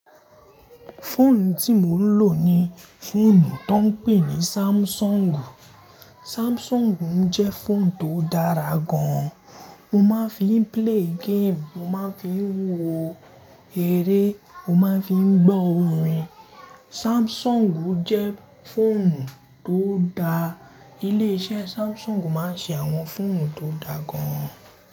Fóònù tí mò ń lò ni fòònù tó ń pè ní Samsung. Samsung jẹ́ fòònù tó dára gan. Mo máa ń fi ń play game, mo máa ń fi ń wo eré, mo máa ń fi ń gbọ́ orin. Samsung jẹ́ fòònù tó da. Ilé-iṣẹ́ Samsung máa ń ṣe àwọn fòònù tó dá gan.